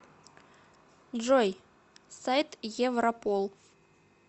джой сайт европол